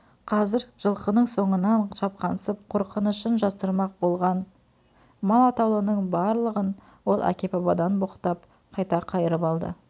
қазір жылқының соңынан шапқансып қорқынышын жасырмақ болған мал атаулының барлығын ол әке-бабадан боқтап қайта қайырып алды